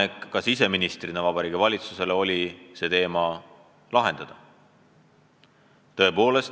Ma tegin siseministrina Vabariigi Valitsusele ettepaneku see teema lahendada.